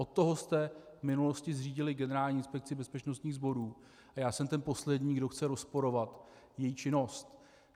Od toho jste v minulosti zřídili Generální inspekci bezpečnostních zdrojů a já jsem ten poslední, kdo chce rozporovat její činnost.